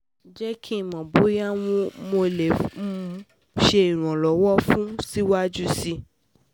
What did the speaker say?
Jẹ ki n mọ boya um Mo le um ṣe iranlọwọ fun ọ siwaju sii